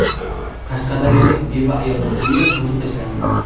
Qashqadaryolik beva ayolning uyi buzib tashlandi.